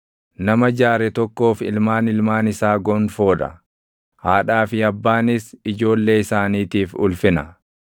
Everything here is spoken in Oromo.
Nama jaare tokkoof ilmaan ilmaan isaa gonfoo dha; haadhaa fi abbaanis ijoollee isaaniitiif ulfina.